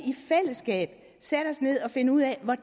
sætte os ned og finde ud af